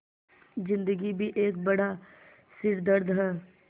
ज़िन्दगी भी एक बड़ा सिरदर्द है